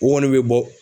O kɔni bɛ bɔ